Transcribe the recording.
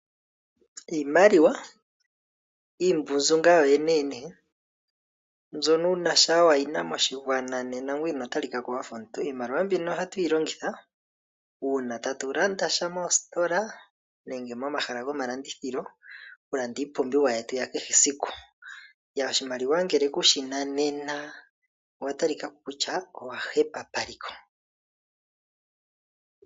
Iimaliwa iimbunzu yoyeneyene mbyono omuntu shaa wayina moshigwana nena ngoye ino talikako wafa omuntu. Ohatu yilongitha uuna tatu landasha moositola nenge momahala gomalandithilo okulanda iipumbiwa yetu yakehe esiku. Oshimaliwa ngele kushina nena owa talikako kutya owa hepa paliko.